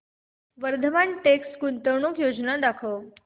Vardhman text गुंतवणूक योजना दाखव